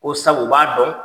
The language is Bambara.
O sabu u b'a dɔn